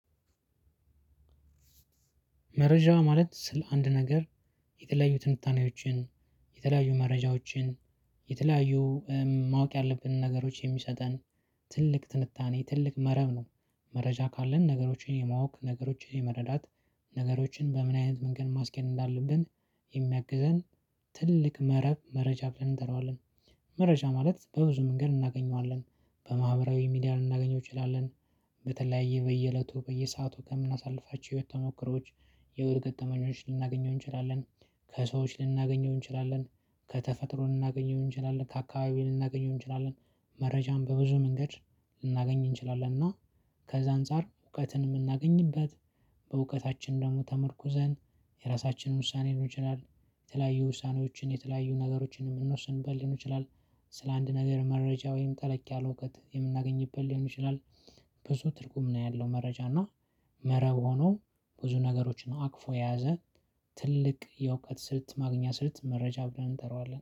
መረጃ ማለት ስለ አንድ ነገር የተለያዩ ትንታኔዎችን የተለያዩ መረጃዎችን የተለያዩ ማወቅ ያለብንን ነገሮች የሚሰጠን ትልቅ ትንታኔ ትልቅ መረብ ነው። መረጃ ካለን ነገሮችን የማወቅ ነገሮችን የመረዳት ነገሮችን በምን አይነት መንገድ ማስኬድ እንዳለብን የሚያግዘን ትልቅ መረብ መረጃ ብለን እንጠራዋለን። መረጃ ማለት በብዙ መንገድ እናገኘዋለን በማህበራዊ ሚዲያ ልናገኘው እችላለን። በተለያየ በየእለቱ በየሰአቱ ከምናሳልፋቸው የህይወት ተሞከሮዎች። የወር ገጠመኞች ልናገኘው እንችላለን። ከሰዎች ልናገኘው እንችላለን ከተፈጥሮን ልናገኘው እንችላለን ከአካባቢን እናገኘው እንችላለን። መረጃም በብዙ መንገድ ልናገኝ እንችላለን እና ከዛ አንፃር እውቀትን የምናገኝበት በእውቀታችን ደግሞ ተመርኩዘን የራሳችንን ውሳኔ ሊሆን ይችላል። የተለያዩ ውሳኔዎችን የተለያዩ ነገሮችን የምንወስንበት ሊሆን ይችላል። ስለ አንድ ነገር መረጃ ወይም ጠለቅ ያለ እውቀት የምናገኝበት ሊሆን ይችላል። ብዙ ትርጉም ነው ያለው መረጃ እና መረብ ሆኖ ብዙ ነገሮችን አቅፎ የያዘ ትልቅ የእውቀት ስልት ማግኛ ስልት መረጃ ብለን እንጠራዋለን